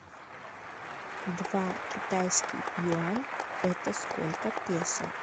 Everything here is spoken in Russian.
два китайский юань это сколько песо